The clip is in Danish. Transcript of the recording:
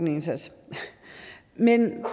indsats men